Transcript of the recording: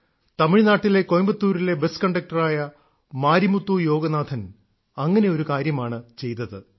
തമിഴ്നാട്ടിലെ കോയമ്പത്തൂരിലെ ബസ് കണ്ടക്ടറായ മാരിമുത്തു യോഗനാഥൻ അങ്ങനെ ഒരു കാര്യമാണ് ചെയ്തത്